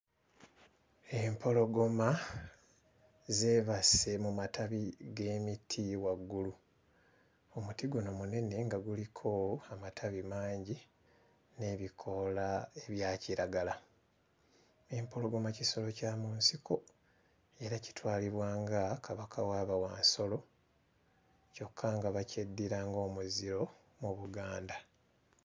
Empologoma zeebase mu matabi g'emiti waggulu. Omuti guno munene nga guliko amatabi mangi n'ebikoola ebya kiragala. Empologoma kisolo kya mu nsiko era kitwalibwa nga kabaka wa bawansolo kyokka nga bakyeddira ng'omuziro mu Buganda.